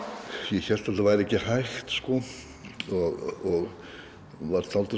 ég hélt að þetta væri ekki hægt sko og var dálítið